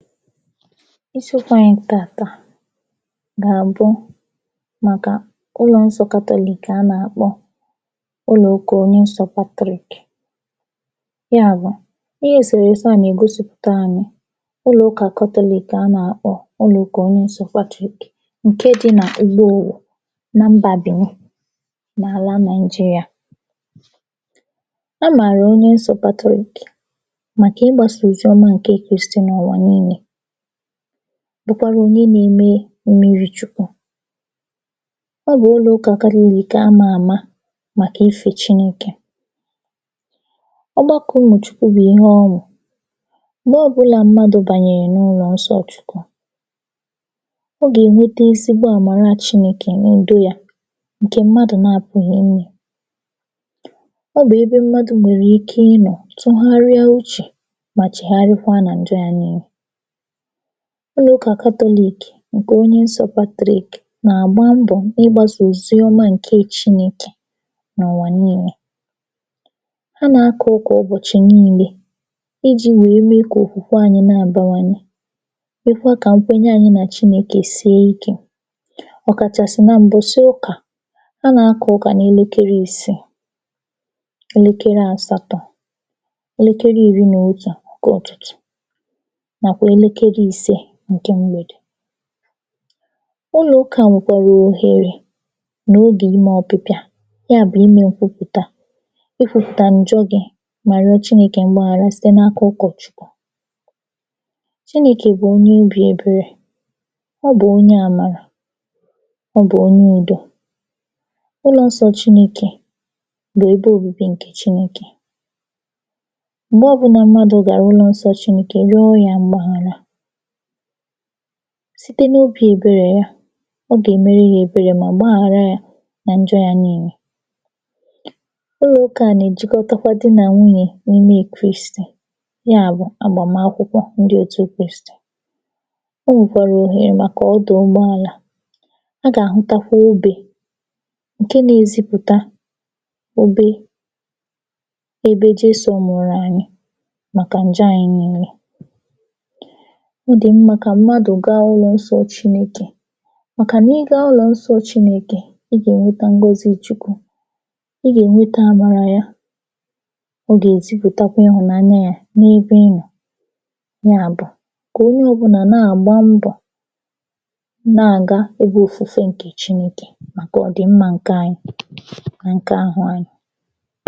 Isiokwu anyị taata gà bụ màkà ulọ̄ nsọ Catholic a nàkpọ ụlụ ụkà onye nsọ̄ Catholic ya bụ̀ ihe èsèrèse a nègosìpụta…. Ụlụ̀ ukà catholic a nàkpọ ụlụ̀ ụkà onye nsọ̄ Patrick ǹke dị nà M̀gbonwò na mbà Bèni n’àla nàị̀jịrị̀à a màrà onye nsọ̄ Patrick, màkà ị gbāsà ozioma Kristì n’àlà niilē bụkwara onye neme mmiri chukwu Ọ bụ̀ ụlụ̀ ụkà Catholic amā àma màkà ifē chinēkè Ọ gbakọ̄ ụmụ̀ chukwu bụ̀ ihe ọṅụ̀ m̀gbọ ọbụlà mmadụ̀ bànyèrè n’ụlọ̀ nsọ̄ chukwu ọ gènwete ezigbo àmàra chinēkè n’ùdi yā ǹkè mmadụ̀ napụghị̀ inyē. Ọ bụ̀ ebe mmadụ̀ nwèrè ike ịnọ̀ tụgharịa uchè mà chègharịakwa nà ǹjọ yā niilē. Ụlụ̀ ụkà Catholic ǹkè onye nsọ̄ Patrick nàgba mbọ̀ ịgbāsà oziọma ǹke chinēkè n’ụ̀wà niilē ha nàka ụkà ụbọ̀chị̀ niilē ijī wèe mee kò òkwùkwa anyị na-àbanwanye mekwa kà nkwenye anyị nà Chinēkè sie ikē ọ̀ kàchàsị̀ nà m̀bọ̀sị̀ ụkà, a nā-akà ụkà n’elekere ịsịị, elekere àsatọ̄, elekere ìri nò otù ǹkụ ụ̀tụtụ̀ nàkwà elekere ise ǹkè mgbèdè Ụlụ̀ ukà nwèkwèrè òhèrè nò ogè imē ọpịpịa, ya bụ̀ imē nkwụpụ̀ta, ịkwūpùtà ǹjọ gị̄ mà rịọ chinēkè mgbaghàra site n’aka ụkọ̀chukwu. Chinēkè bụ̀ onye obī èberè, Ọ bù onye àmàrà, Ọ bụ̀ onyu udo. Ụlọ̀nsọ̄ Chinēkè bụ̀ ebe òbibi ǹkè Chinēkè M̀gbọ ọbụlà mmadu̇̀ gàà ụlọ̄ nsọ̄ Chinēkè yọọ yā mgbaghàra site n’obī èberè ya, ọ gèmere yē èberè mà gbaghàra yā nà ǹjọ yā niilē. Ụlụ̀ ụkà a nèjikọta di nà nwunyè n’ime Kristì, ya bụ̀, àgbàmakwụkwọ ndị òtu Kristì. O nwèkwàrà òhèrè màkà ọdụ̀ ụgbaàlà A gàhụtakwa obē ǹke nēzịpụ̀ta obe ebe Jesò nwụ̀rụ̀ ànyị màkà ǹja anyị niilē. Ọ dì mmā kà m̀madù gaa ụlọ̀ nsọ̄ Chinēkè, màkà ị gaa ụlọ̀nsọ̄ Chinēkè ị gènweta ngọzi Chukwu, ị gènweta àmàrà ya, ọ gèzipụ̀takwa ịhụ̀nanya yā n’ebe ị nọ̀ ya bụ̀ kò onyo ọ̀bụlà na-àgba mbọ̀ na-àga ebe òfùfe ǹkè Chinēkè màkà ọ̀ dị̀ mmā ǹka anyi nà ǹka ahụ anyị̄.